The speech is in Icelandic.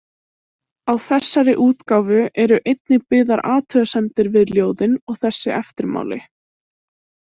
Á þessari útgáfu eru einnig byggðar athugasemdir við ljóðin og þessi eftirmáli.